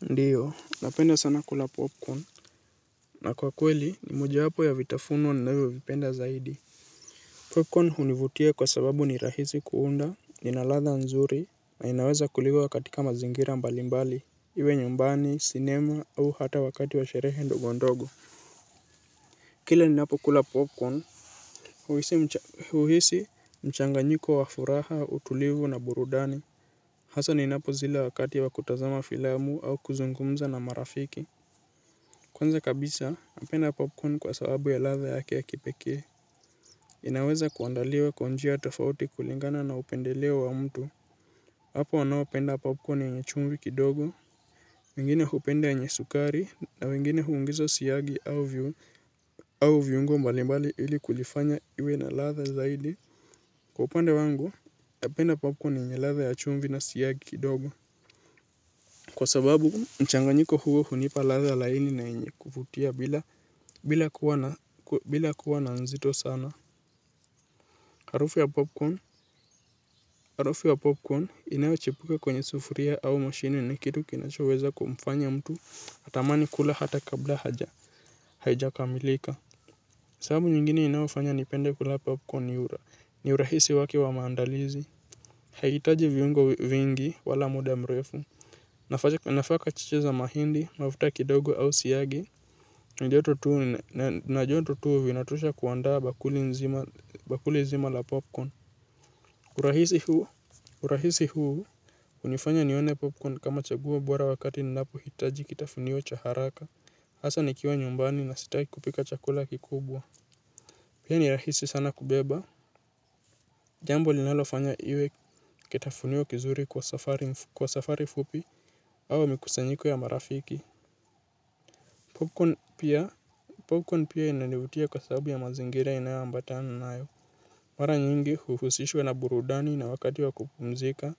Ndiyo, napenda sana kula popcorn na kwa kweli, ni mojawapo ya vitafuno ninavyovipenda zaidi. Popcorn hunivutia kwa sababu ni rahisi kuunda, ina ladha nzuri, na inaweza kuliwa katika mazingira mbali mbali, iwe nyumbani, sinema au hata wakati wa sherehe ndogo ndogo. Kila ninapokula popcorn, huhisi huhisi mchanganyiko wa furaha, utulivu na burudani, hasa ninapozila wakati wa kutazama filamu au kuzungumza na marafiki. Kwanza kabisa, napenda popcorn kwa sababu ya ladha yake ya kipekee. Inaweza kuandaliwa kwa njia tofauti kulingana na upendeleo wa mtu. Hapo wanaopenda popcorn yenye chumvi kidogo wengine hupenda yenye sukari, na wengine huongeza siagi au viungo mbalimbali ili kulifanya iwe na ladha zaidi. Kwa upande wangu, napenda popcorn yenye ladha ya chumvi na siyagi kidogo. Kwa sababu, mchanganyiko huo hunipa ladha laini na yenye kuvutia bila kuwa na, bila kuwa na nzito sana. Harufu ya popcorn, harufu ya popcorn inayochipuka kwenye sufuria au moshini ni kitu kinachoweza kumfanya mtu atamani kula hata kabla haja, haijakamilika. Sababu nyingine inayofanya nipende kula popcorn ni ura, ni urahisi wake wa maandalizi. Haihitaji viungo vingi wala muda mrefu. Nafaka chiche za mahindi, mafuta kidogo au siyagi, na joto tu na joto tu vinatosha kuandaa bakuli nzima bakuli nzima la popcorn. Urahisi huu, urahisi huu hunifanya nione popcorn kama chaguo bora wakati ninapohitaji kitafunio cha haraka, hasa nikiwa nyumbani na sitaki kupika chakula kikubwa. Pia ni rahisi sana kubeba. Jambo linalofanya iwe kitafunio kizuri kwa safari fupi au mikusanyiko ya marafiki. Popcorn pia, popcorn pia inanivutia kwa sababu ya mazingira inayoambatana nayo. Mara nyingi huhusishwa na burudani na wakati wa kupumzika,